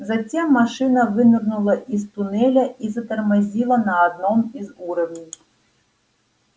затем машина вынырнула из туннеля и затормозила на одном из уровней